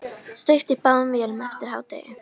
Steypt í báðum vélum eftir hádegi.